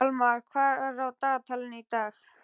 Almar, hvað er á dagatalinu í dag?